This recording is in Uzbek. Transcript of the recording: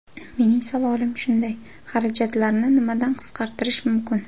Mening savolim shunday: xarajatlarni nimadan qisqartirish mumkin?